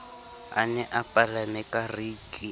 a ne a palame kariki